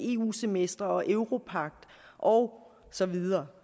eu semester og europagter og så videre